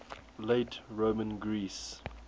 late roman greece